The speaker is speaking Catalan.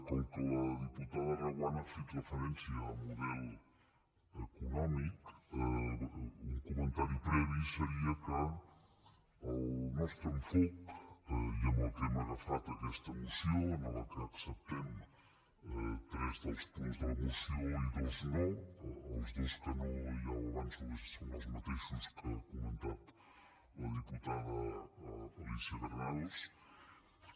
com que la diputada reguant ha fet referència al model econòmic un comentari previ seria que el nostre enfocament amb què hem agafat aquesta moció en què acceptem tres dels punts de la moció i dos no els dos que no ja ho avanço són els mateixos que ha comentat la diputat alícia romero